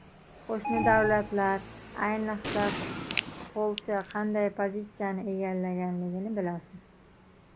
Qo‘shni davlatlar, ayniqsa, Polsha qanday pozitsiyani egallaganligini bilasiz.